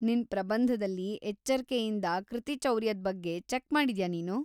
ನಿನ್ ಪ್ರಬಂಧದಲ್ಲಿ ಎಚ್ಚರ್ಕೆಯಿಂದ ಕೃತಿಚೌರ್ಯದ್‌ ಬಗ್ಗೆ ಚೆಕ್ ಮಾಡಿದ್ಯಾ‌ ನೀನು?